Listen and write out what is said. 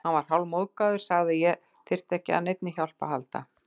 Hann varð hálfmóðgaður, sagði að ég þyrfti ekki á neinni hjálp að halda.